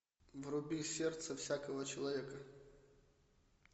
вруби сердце всякого человека